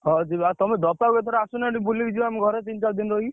ହଉ ଯିବା ତମେ କୁ ଏଥର ଆସୁନା ଏଠି ବୁଲିକି ଯିବ ଆମ ଘରେ ତିନି ଚାରିଦିନି ରହିକି।